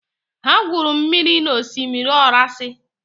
Ha gwuru mmiri na osimiri orasi.